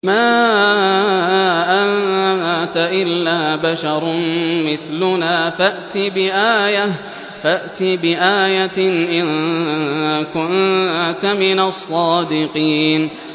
مَا أَنتَ إِلَّا بَشَرٌ مِّثْلُنَا فَأْتِ بِآيَةٍ إِن كُنتَ مِنَ الصَّادِقِينَ